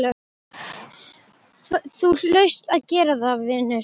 Þú hlaust að gera það, vinur.